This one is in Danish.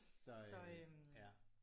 Så øh ja